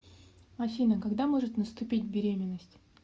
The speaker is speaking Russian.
афина когда может наступить беременность